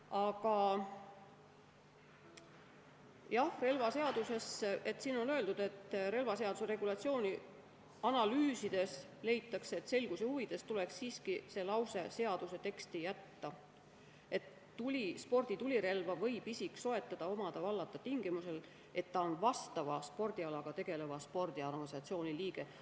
Aga jah, siin on öeldud, et relvaseaduse regulatsiooni analüüsides leitakse, et selguse huvides tuleks see lause siiski seaduse teksti jätta: "Sporditulirelva võib isik soetada, omada ja vallata tingimusel, et ta on vastava spordialaga tegeleva spordiorganisatsiooni liige.